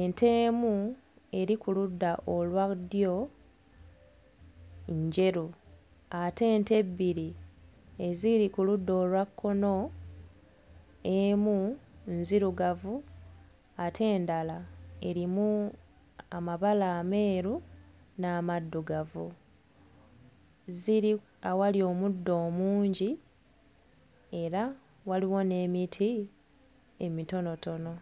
ente emu eri ku ludda olwa ddyo njeru ate ente ebbiri eziri ku ludda olwa kkono emu nzirugavu ate endala erimu amabala ameeru n'amaddugavu ziri awali omuddo omungi era waliwo n'emiti emitonotono.